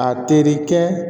A terikɛ